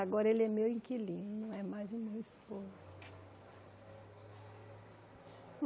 Agora ele é meu inquilino, não é mais o meu esposo.